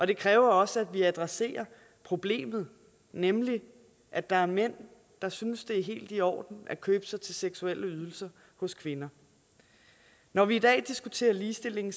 det kræver også at vi adresserer problemet nemlig at der er mænd der synes det er helt i orden at købe sig til seksuelle ydelser hos kvinder når vi i dag diskuterer ligestilling